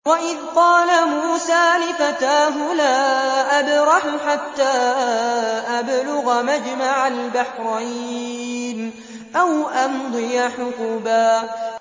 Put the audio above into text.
وَإِذْ قَالَ مُوسَىٰ لِفَتَاهُ لَا أَبْرَحُ حَتَّىٰ أَبْلُغَ مَجْمَعَ الْبَحْرَيْنِ أَوْ أَمْضِيَ حُقُبًا